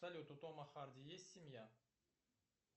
салют у тома харди есть семья